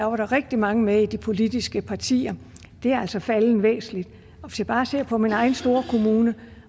var der rigtig mange med i de politiske partier det er altså faldet væsentligt hvis jeg bare ser på min egen store kommune